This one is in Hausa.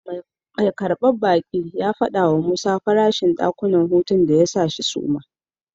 Mai karbar baki ya fadi wa Musa farashin dakunan hutu din da ya sa shi suma.